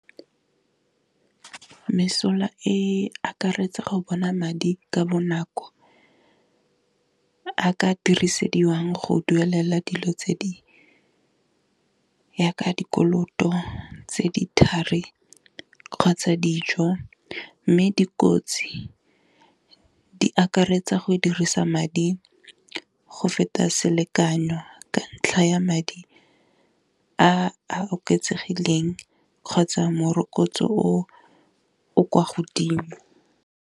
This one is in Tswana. Mesola e akaretsa go bona madi ka bonako a ka dirisediwang go duelela dilo tse di ya ka dikoloto tse di thari kgotsa dijo, mme dikotsi di akaretsa go dirisa madi go feta selekanyo ka ntlha ya madi a a oketsegileng, kgotsa morokotso o o kwa godimo.